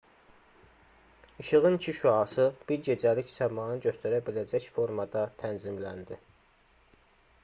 i̇şığın iki şüası bir gecəlik səmanı göstərə biləcək formada tənzimləndi